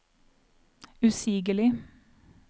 usigelig